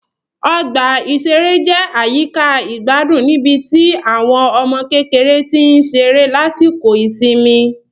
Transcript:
Ọgbà ìṣeré jẹ́ àyíká ìgbádùn níbi tí àwọn ọmọ kékeré tí ń ṣeré lásìkò ìsinmi